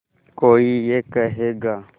कोई ये कहेगा